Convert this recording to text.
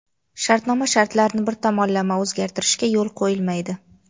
shartnoma shartlarini bir tomonlama o‘zgartirishga yo‘l qo‘yilmaydi.